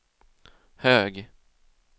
hög